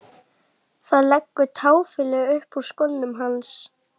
Það leggur táfýlu upp úr skónum hans.